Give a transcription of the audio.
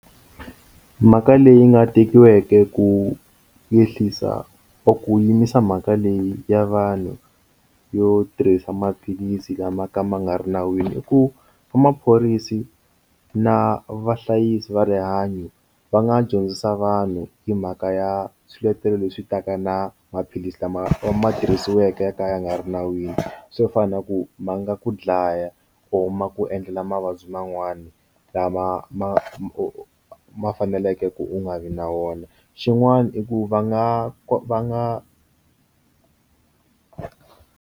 Mhaka leyi nga tekiweke ku ehlisa or ku yimisa mhaka leyi ya vanhu yo tirhisa maphilisi lama ka ma nga ri nawini i ku va maphorisa na vahlayisi va rihanyo va nga dyondzisa vanhu hi mhaka ya swiletelo leswi ta ka na maphilisi lama ma tirhisiweke yo ka ya nga ri nawini swo fana na ku ma nga ku dlaya ya or ma ku endlela mavabyi man'wana lama ma ma u ma faneleke ku u nga vi na wona xin'wana i ku va nga ka va nga.